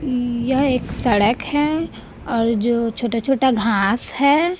यह एक सड़क है और जो छोटा छोटा घास है।